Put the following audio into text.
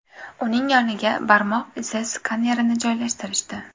Uning yoniga barmoq izi skanerini joylashtirishdi.